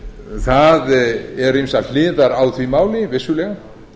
skattaumsýslunnar það eru ýmsar hliðar á því máli vissulega